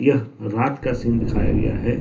यह रात का सीन दिखाया गया है।